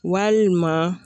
Walima.